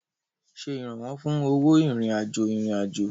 Ṣe ìrànwọ́ fún owó ìrìn-àjò ìrìn-àjò.